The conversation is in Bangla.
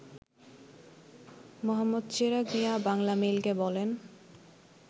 মো. চেরাগ মিয়া বাংলামেইলকে বলেন